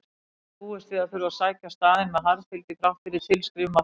Hann hafði búist við að þurfa að sækja staðinn með harðfylgi þrátt fyrir tilskrif Marteins.